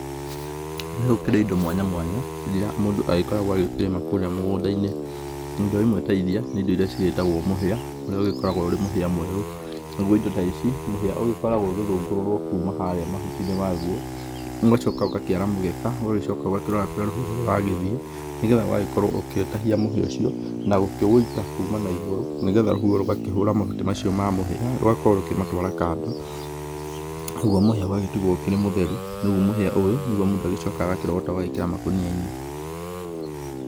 Nĩ gũkĩrĩ indo mwanya mwanya irĩa mũndũ agĩkoragwo agĩkĩrĩma kũrĩa mũgũnda-inĩ, indo imwe ta iria nĩ indo irĩa cigĩtagwo mũhia ũrĩa ũgĩkoragwo ũrĩ mũhia mwerũ, nagũo indo ta ici mũhia ũgĩkoragwo ũgĩthũngũrũrwo kuma harĩa mahuti-inĩ magũo, ũgagĩcoka ũkara mũgeka ũgagĩcoka ũgakĩrora kũrĩa rũhuho rũragĩthiĩ, nĩgetha ũgagĩkorwo ũgĩtahia mũhia ta ũcio na gũkĩwĩita kũma naigũru nĩgetha rũhuho rũgakĩhũra mabuti ma mũhia rũgakorwo rũgĩmatwara kando nagũo mũhia ũgagĩtigwo ũrĩ mũtheru, rĩu mũhia ũyũ nĩgũo mũndũ agĩcokaga agakĩrogota ũgagĩkĩra makũnia-inĩ.